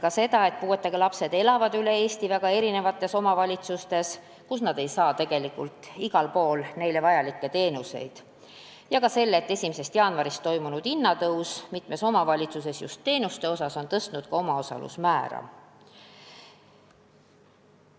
Märkisin, et puuetega lapsed elavad üle Eesti väga erinevates omavalitsustes ja igal pool ei saa nad tegelikult neile vajalikke teenuseid, ning ka seda, et 1. jaanuarist toimunud hinnatõus, eelkõige teenustele, on mitmes omavalitsuses tõstnud ka omaosalusmäära.